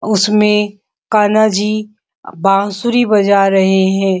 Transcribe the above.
उसमे कान्हा जी बाँसुरी बजा रहे हैं।